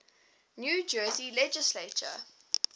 new jersey legislature